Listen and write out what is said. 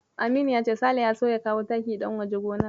Aminu ya ce Sale ya so ya kawo taki ɗan waje gonar.